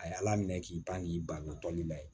A ye ala minɛ k'i ban k'i ban tɔli la